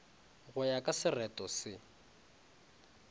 go ya ka sereto se